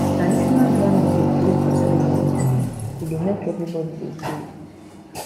traditional drumming dey play for ceremonies e dey make everybody dey groove